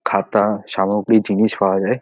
খাতা সামগ্রী জিনিস পাওয়া যায়।